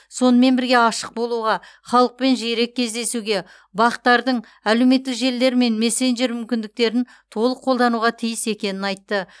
сонымен бірге ашық болуға халықпен жиірек кездесуге бақ тардың әлеуметтік желілер мен мессенджер мүмкіндіктерін толық қолдануға тиіс екенін айтты